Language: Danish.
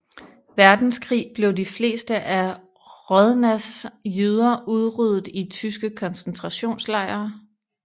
Verdenskrig blev de fleste af Hrodnas jøder udryddet i tyske koncentrationslejre